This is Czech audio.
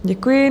Děkuji.